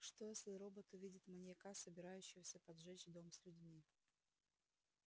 что если робот увидит маньяка собирающегося поджечь дом с людьми